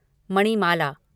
Manimala